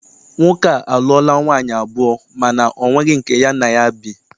Nwoke a a lụọla nwaanyị abụọ mana ọ nweghị nke ya na ya bi.